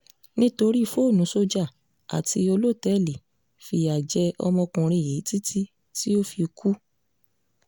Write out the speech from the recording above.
nítorí fóònù sójà àti olótẹ́ẹ̀lì fìyà jẹ ọmọkùnrin yìí títí tó fi kú